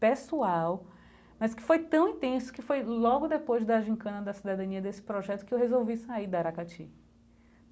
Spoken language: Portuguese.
pessoal, mas que foi tão intenso que foi logo depois da gincana da Cidadania desse projeto que eu resolvi sair da Aracati.